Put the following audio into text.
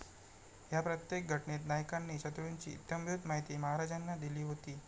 ह्या प्रत्येक घटनेत नायकांनी शत्रुंची इत्यंभूत माहिती महाराजांना दिली होती.